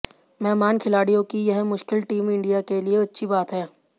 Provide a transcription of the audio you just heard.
मेहमान खिलाड़ियों की यह मुश्किल टीम इंडिया के लिए अच्छी बात है